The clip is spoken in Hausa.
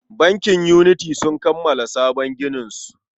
Bankin Unity sun kammala sabon gininsu.